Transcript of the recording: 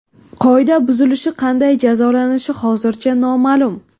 Qoida buzilishi qanday jazolanishi hozircha noma’lum.